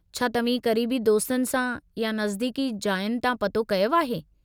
छा तव्हीं क़रीबी दोस्तनि सां या नज़दीकी जायुनि तां पतो कयो आहे?